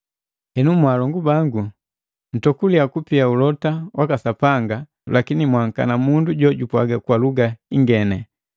Henu, mwaalongu bangu, nntokuliya kupia ulote waka Sapanga, lakini mwaankana mundu jojupwaaga kwa luga ngeni.